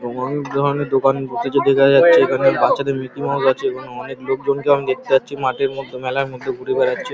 অনেক ধরনের দোকান বসেছে দেখাই যাচ্ছে। এখানে বাচ্চাদের মিকিমাউস আছে এবং অনেক লোকজন কে আমি দেখতে পাচ্ছি মাঠের মধ্যে মেলার মধ্যে ঘুরে বেড়াচ্ছে।